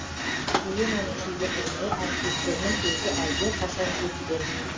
еленаның шеберлігіне әріптестерінің көзі әлдеқашан жеткен